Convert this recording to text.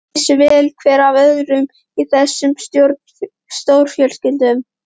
Allir vissu vel hver af öðrum í þessum stórfjölskyldum.